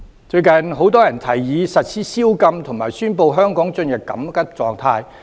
最近很多人提議實施宵禁，以及宣布香港進入緊急狀態。